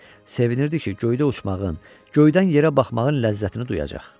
Sevinirdi ki, göydə uçmağın, göydən yerə baxmağın ləzzətini duyacaq.